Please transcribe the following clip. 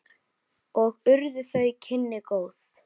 Og urðu þau kynni góð.